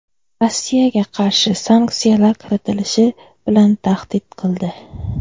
Rossiyaga qarshi sanksiyalar kiritilishi bilan tahdid qildi.